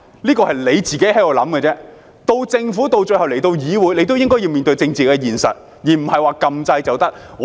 這是政府自行想象的，政府最後來到議會也應該面對政治現實，而不是按鈕表決便可以。